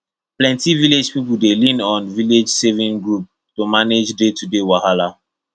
plenty village people dey lean on village saving group to manage daytoday wahala